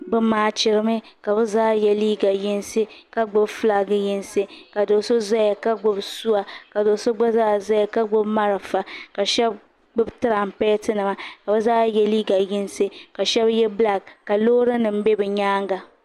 Bɛ maachiri mi ka bɛ zaa ye liiga yinsi ka gbibi filaaki yinsi ka do'so zaya ka gbibi o sua ka do'so gba zaa zaya ka gbibi marafa ka sheba gbibi tirampeti nima ka bɛ zaa ye liiga yinsi ka sheba ye bilaaki ka loori nima be bɛ nyaanga.